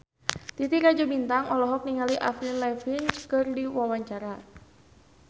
Titi Rajo Bintang olohok ningali Avril Lavigne keur diwawancara